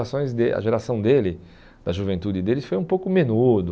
A geração dele, da juventude dele, foi um pouco menudo.